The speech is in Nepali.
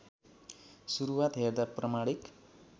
सुरुवात हेर्दा प्रमाणिक